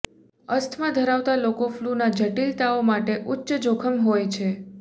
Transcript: asthma ધરાવતા લોકો ફલૂના જટિલતાઓ માટે ઉચ્ચ જોખમ હોય છે